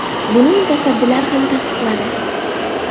Buni mutasaddilar ham tasdiqladi.